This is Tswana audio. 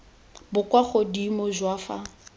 bo kwa godimo jwa fa